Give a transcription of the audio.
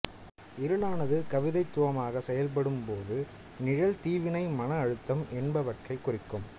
இருளானது கவிதைத்துவமாக சொல்லப்படும்போது நிழல் தீவினை மன அழுத்தம் என்பவற்றைக் குறிக்கும்